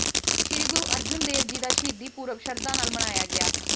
ਸ੍ਰੀ ਗੁਰੂ ਅਰਜਨ ਦੇਵ ਜੀ ਦਾ ਸ਼ਹੀਦੀ ਪੁਰਬ ਸ਼ਰਧਾ ਨਾਲ ਮਨਾਇਆ ਗਿਆ